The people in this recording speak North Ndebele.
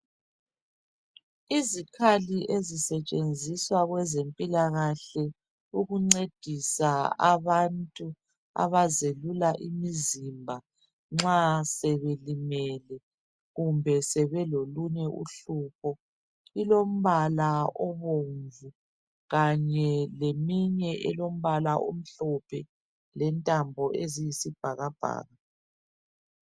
Izikhali ezisetshenziswa kwezempilakahle ukuncedisa abantu abazelula imizimba nxa sebelimele kumbe sebelolunye uhlupho. Ilombala obomvu kanye leyinye elombala omhlophe lentambo eziyisibhakabhaka.